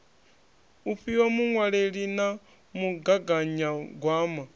u fhiwa muṅwaleli na mugaganyagwama